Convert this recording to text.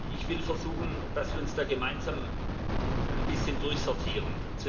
Ich will versuchen, dass wir uns da gemeinsam ein bisschen durchsortieren.